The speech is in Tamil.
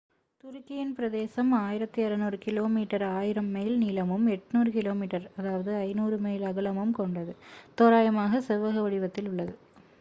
துருக்கியின் பிரதேசம் 1,600 கிலோமீட்டர் 1,000 மைல் நீளமும் 800 கிமீ 500 மைல் அகலமும் கொண்டது தோராயமாகச் செவ்வக வடிவத்தில் உள்ளது